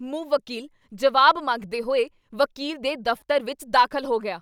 ਮੁਵੱਕੀਲ ਜਵਾਬ ਮੰਗਦੇ ਹੋਏ ਵਕੀਲ ਦੇ ਦਫ਼ਤਰ ਵਿੱਚ ਦਾਖਲ ਹੋ ਗਿਆ!